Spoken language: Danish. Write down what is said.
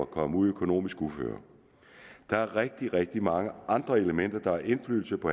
kommet ud i økonomisk uføre der er rigtig rigtig mange andre elementer der har indflydelse på